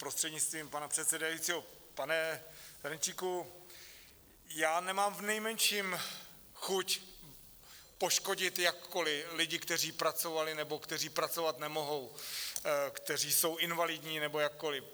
Prostřednictvím pana předsedajícího, pane Ferjenčíku, já nemám v nejmenším chuť poškodit jakkoliv lidi, kteří pracovali nebo kteří pracovat nemohou, kteří jsou invalidní nebo jakkoliv.